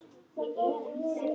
Og hverju breytir það?